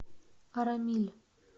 арамиль